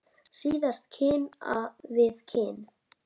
Síðustu kinn við kinn.